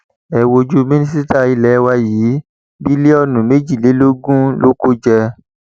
ẹ wojú mínísítà ilé wa yìí bílíọnù méjìlélógún ló kó jẹ